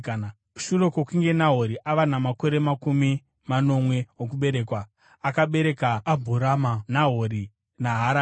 Shure kwokunge Nahori ava namakore makumi manomwe okuberekwa, akabereka Abhurama, Nahori naHarani.